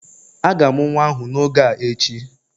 A ga-amụ nwa ahụ n'oge a echi